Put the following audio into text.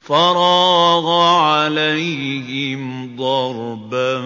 فَرَاغَ عَلَيْهِمْ ضَرْبًا